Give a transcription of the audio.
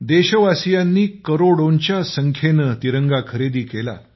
देशवासीयांनी करोडोंच्या संख्येने तिरंगा खरेदी केला